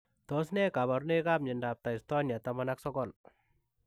Tos ne kabarunoik ap miondoop Taistonia taman ak sogol?